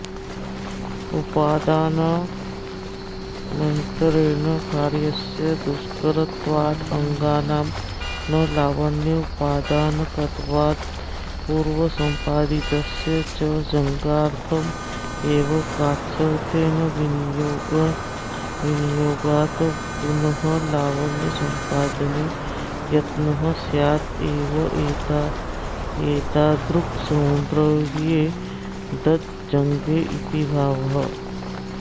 उपादानमन्तरेण कार्यस्य दुष्करत्वात्तदङ्गानां न लावण्योपादानकत्वात्पूर्वसंपादितस्य च जङ्घार्थमेव कार्त्स्त्येन विनियोगात्पुनर्लावण्यसंपादने यत्नः स्यादेवेत्येतादृक्सौन्दर्ये दज्जङ्गे इति भावः